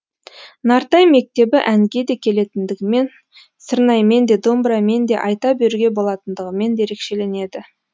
нартай мектебі әнге де келетіндігімен сырнаймен де домбырамен де айта беруге болатындығымен ерекшеленеді